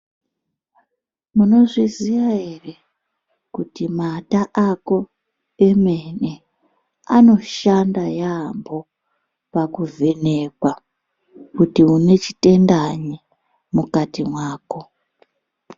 Munozviziva ere kuti mata ako emene anoshanda yambo pakuvhenekwa kuti une chitendanyi mukati mwako.